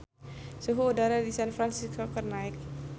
Suhu udara di San Fransisco keur naek